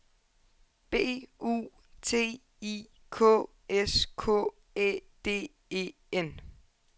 B U T I K S K Æ D E N